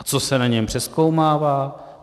A co se na něm přezkoumává?